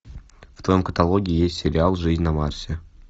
в твоем каталоге есть сериал жизнь на марсе